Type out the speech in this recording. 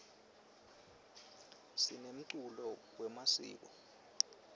sinemculo wemasiko